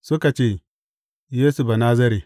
Suka ce, Yesu Banazare.